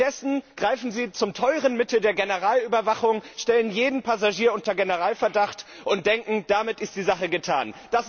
Stattdessen greifen Sie zum teuren Mittel der Generalüberwachung, stellen jeden Passagier unter Generalverdacht und denken, damit ist die Sache getan.